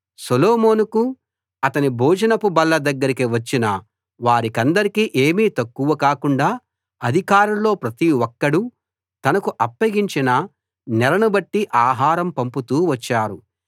సొలొమోనుకు అతని భోజనపు బల్ల దగ్గరికి వచ్చిన వారికందరికీ ఏమీ తక్కువ కాకుండా అధికారుల్లో ప్రతి ఒక్కడూ తనకు అప్పగించిన నెలను బట్టి ఆహారం పంపుతూ వచ్చారు